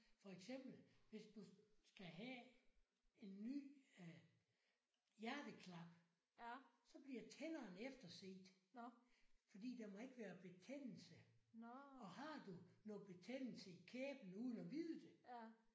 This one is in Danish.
For eksempel hvis du skal have en ny øh hjerteklap så bliver tænderne efterset fordi der må ikke være betændelse og har du noget betændelse i kæben uden at vide det